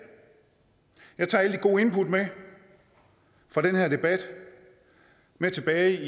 jeg tager alle de gode input fra den her debat med tilbage